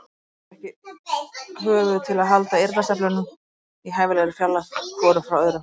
Hann gaf mér ekki höfuð til að halda eyrnasneplunum í hæfilegri fjarlægð hvorum frá öðrum.